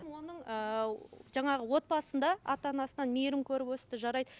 оның ыыы жаңағы отбасында ата анасынан мейірім көріп өсті жарайды